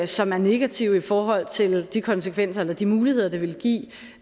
som er negative i forhold til de konsekvenser eller de muligheder det vil give